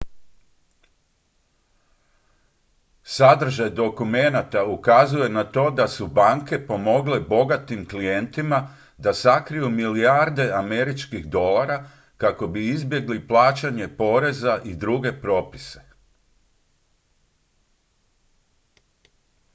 sadržaj dokumenata ukazuje na to da su banke pomogle bogatim klijentima da sakriju milijarde američkih dolara kako bi izbjegli plaćanje poreza i druge propise